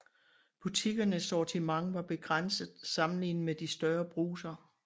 Butikkernes sortiment var begrænset sammenlignet med de større brugser